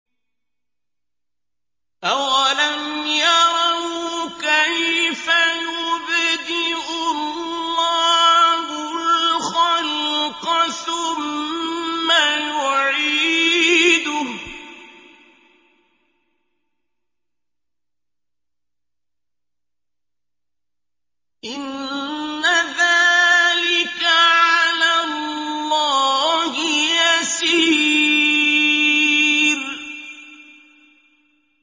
أَوَلَمْ يَرَوْا كَيْفَ يُبْدِئُ اللَّهُ الْخَلْقَ ثُمَّ يُعِيدُهُ ۚ إِنَّ ذَٰلِكَ عَلَى اللَّهِ يَسِيرٌ